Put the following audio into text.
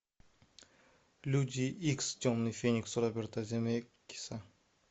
люди икс темный феникс роберта земекиса